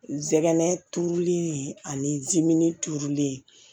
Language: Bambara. N zɛgɛnɛ turulen ani zamɛ tuurulen